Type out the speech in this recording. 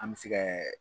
An bɛ se kɛ